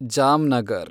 Jamnagar